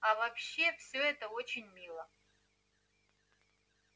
а вообще все это очень мило